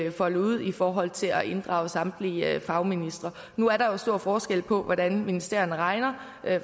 var foldet ud i forhold til at inddrage samtlige fagministre nu er der jo stor forskel på hvordan ministerierne regner